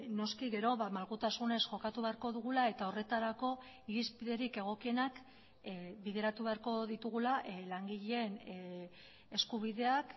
noski gero malgutasunez jokatu beharko dugula eta horretarako irizpiderik egokienak bideratu beharko ditugula langileen eskubideak